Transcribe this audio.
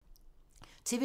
TV 2